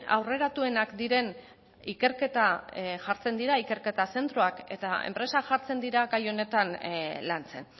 aurreratuenak diren ikerketa zentroak jartzen dira eta enpresak jartzen dira gai honetan lantzen